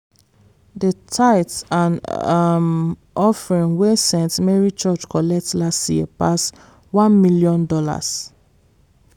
the tithe and um offering wey st. mary church collect last year pass $1 million.